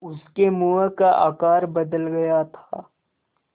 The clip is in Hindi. उसके मुँह का आकार बदल गया था